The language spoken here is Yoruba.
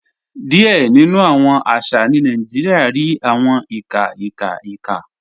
Díẹ̀ nínu awọn àṣà ní Nàìjíríà rí awọn ìkà ìkà ìkà.